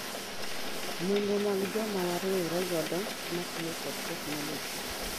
Nonro mag joma wariwore godo matiyo kod technologi